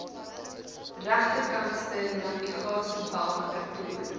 regterkantste navigasiebalk vertoon